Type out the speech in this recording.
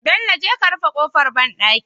Bello je ka rufe kofar banɗaki